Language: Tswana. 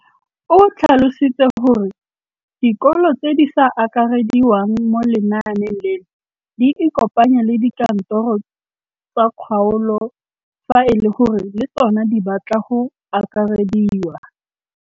O tlhalositse gore dikolo tse di sa akarediwang mo lenaaneng leno di ikopanye le dikantoro tsa kgaolo fa e le gore le tsona di batla go akarediwa.